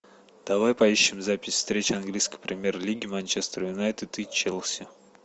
давай поищем запись встречи английской премьер лиги манчестер юнайтед и челси